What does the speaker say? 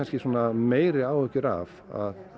meiri áhyggjur af